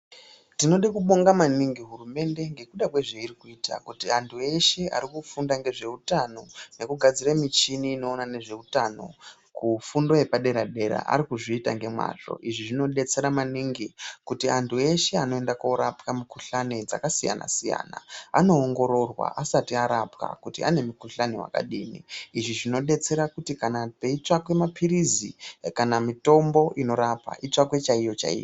Tinode kubonga maningi hurumende nekuda kwezvairi kuita kuti vantu veshe ari kufunda ngezveutano ngekugadziraa mishini inoona nezveutano, kufundo yepadera dera ari kuzviita nemazvo. Izvi zvinodetsera maningi kuti antu eshe anoenda korapwa mukuhlani dzakasiyana- siyana vanoongororwa asati arapwa kuti ane mukuhlani wakadii, izvi zvinodetsera kuti kana peitsvakwe mapirizi kana mitombo inorapa itsvakwe chaiyo chaiyo.